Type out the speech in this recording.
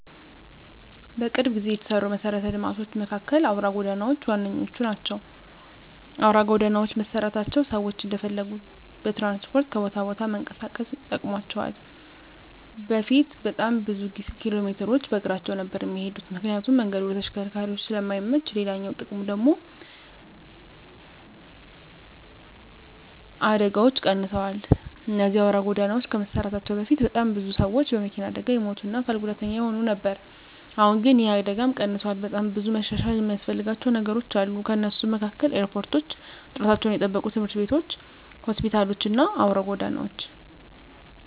በቅርብ ጊዜ የተሰሩ መሰረተ ልማቶች መካከል አውራ ጎዳናዎች ዋነኞቹ ናቸው። አውራ ጎዳናዎች መሰራታቸው ሰዎች እንደፈለጉ በትራንስፖርት ከቦታ ቦታ ለመንቀሳቀስ ጠቅሟቸዋል በፊት በጣም ብዙ ኪሎሜትሮችን በእግራቸው ነበር እሚሄዱት ምክንያቱም መንገዱ ለተሽከርካሪዎች ስለማይመች፤ ሌላኛው ጥቅሙ ደግሙ ደግሞ አደጋዎች ቀንሰዋል እነዚህ አውራ ጎዳናዎች ከመሰራታቸው በፊት በጣም ብዙ ሰዎች በመኪና አደጋ ይሞቱ እና አካል ጉዳተኛ ይሆኑ ነበር አሁን ግን ይህ አደጋም ቀንሷል። በጣም ብዙ መሻሻል እሚያስፈልጋቸው ነገሮች አሉ ከነሱም መካከል ኤርፖርቶች፣ ጥራታቸውን የጠበቁ ትምህርት ቤቶች፣ ሆስፒታሎች እና አውራ ጎዳናዎች።